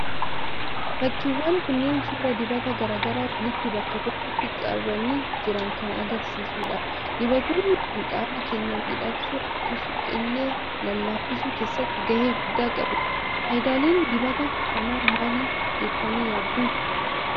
Fakkiiwwan kunneen, suuraa dibata garaa garaa walitti bakka tokkotti qabanii jiran kan argisiisudha. Dibatoonni Kun, qaama keenya miidhagsuu akkasuma illee lallaafisuu keessatti gahee guddaa qabu. Fayidaaleen dibata kana maali jettanii yaaddu?